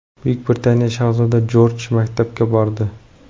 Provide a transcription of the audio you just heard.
Buyuk Britaniya shahzodasi Jorj maktabga bordi.